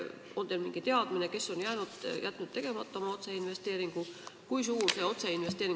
On teil mingi teadmine, kes on jätnud oma otseinvesteeringu tegemata?